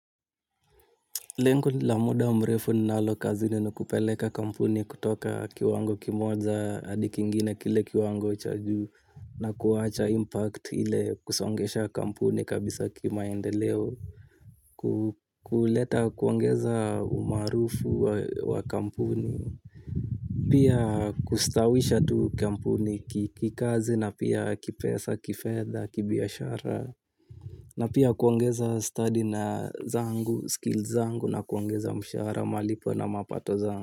Lengo la muda mrefu ninalo kazini ni kupeleka kampuni kutoka kiwango kimoja hadi kingine, kile kiwango cha juu na kuacha impact ile kusongesha kampuni kabisa kimaendeleo. Kuleta, kuangeza umaarufu wa kampuni. Pia kustaawisha tu kampuni kikazi na pia kipesa, kifedha kibiashara. Na pia kuongeza study na zangu, skills zangu na kuongeza mshara, malipo na mapato zangu.